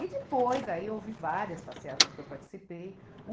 E depois, aí houve várias passeatas que eu participei.